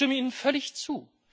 Ich stimme Ihnen völlig zu.